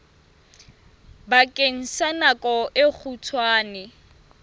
bakeng sa nako e kgutshwane